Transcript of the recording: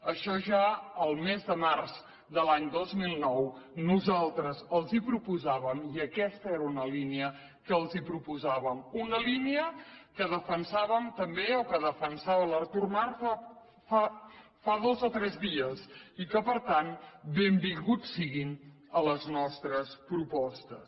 això ja el mes de març de l’any dos mil nou nosaltres els ho proposàvem i aquesta era una línia que els proposàvem una línia que defensàvem també o que defensava l’artur mas fa dos o tres dies i que per tant benvinguts siguin a les nostres propostes